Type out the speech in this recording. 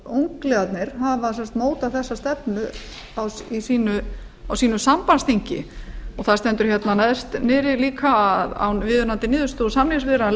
hafa sem sagt mótað þessa stefnu á sínu sambandsþingi það stendur þarna neðst niðri líka að án viðunandi niðurstöðu úr samningsviðræðum